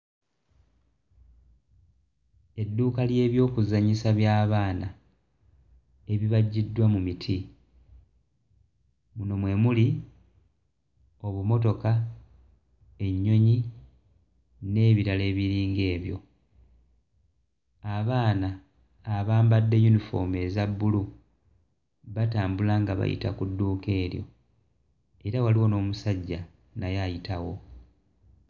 Edduuka ly'ebyokuzannyisa by'abaana ebibajjiddwa mu miti muno mwe muli obumotoka, ennyonyi n'ebirala ebiringa ebyo abaana abambadde yunifoomu eza bbulu batambula nga bayita ku dduuka eryo era waliwo n'omusajja naye ayitawo.